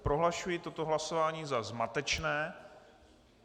Prohlašuji toto hlasování za zmatečné.